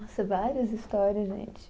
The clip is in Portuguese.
Nossa, várias histórias, gente.